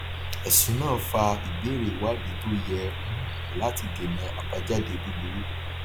ẹsùn náà fa ìbéèrè ìwádìí tó yẹ um láti dènà àbájáde búburú